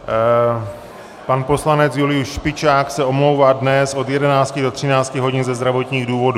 Pan poslanec Julius Špičák se omlouvá dnes od 11 do 13 hodin ze zdravotních důvodů.